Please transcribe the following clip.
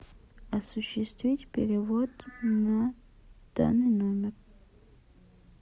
осуществить перевод на данный номер